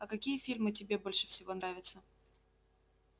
а какие фильмы тебе больше всего нравятся